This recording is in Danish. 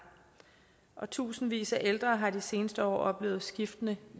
og tusindvis af ældre har de seneste år oplevet skiftende